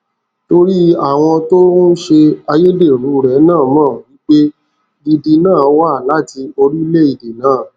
torí àwọn tó òun ṣe ayédèrú rẹ na mo wípé gidi na wa lati orílẹèdè na